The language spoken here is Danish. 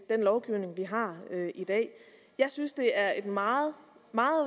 den lovgivning vi har i dag jeg synes det er et meget